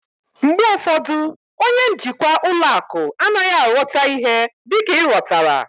Mgbe ụfọdụ, onye njikwa ụlọ akụ anaghị aghọta ihe dịka ị ghọtara